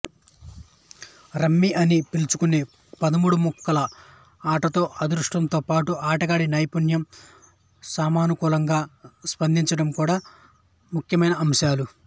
rummy అని పిలుచుకునే పదమూడు ముక్కల ఆటలో అదృష్టంతో పాటు ఆడగాడి నైపుణ్యం సమయానుకూలంగా స్పందించడం కూడా ముఖ్యమైన అంశాలు